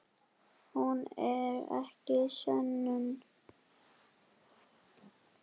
Hún er ekki sönnun.